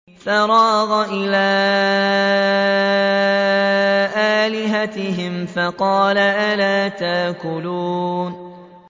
فَرَاغَ إِلَىٰ آلِهَتِهِمْ فَقَالَ أَلَا تَأْكُلُونَ